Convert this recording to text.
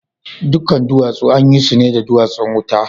Dukan duwatsu an yi su ne da duwatsun wuta?